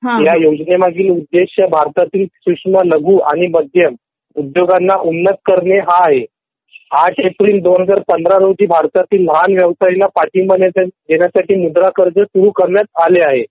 ह्या योजने मागील उद्देश्य भारतातील सूक्ष्म लघु आणि मध्यम उद्योगांना उन्नत करणे हा आहे ८ एप्रिल २०१५ रोजी भारतातील लहान व्यवसायांना पाठिंबा द्यायला मुद्रा कर्ज सुरू करण्यात आले आहे